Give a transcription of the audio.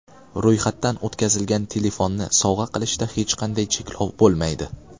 Ro‘yxatdan o‘tkazilgan telefonni sovg‘a qilishda hech qanday cheklov bo‘lmaydi.